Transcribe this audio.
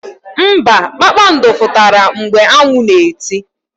Mba, kpakpando fututara mgbe anwu na eti.